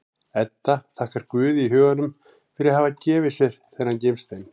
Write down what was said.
Edda þakkar Guði í huganum fyrir að hafa gefið sér þennan gimstein.